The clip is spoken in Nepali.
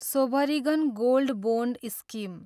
sovereign gold bond scheme